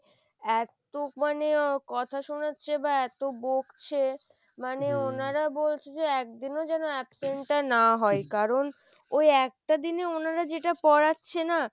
এত্ত মানে কথা শোনাচ্ছে বা এত বকছে মানে ওনারা বলছে যে একদিনও যেন absent টা না হয় কারণ ওই একটা দিনে ওনারা যেটা পড়াচ্ছে না,